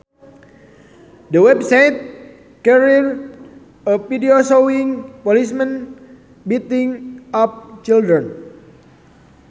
The website carried a video showing policemen beating up children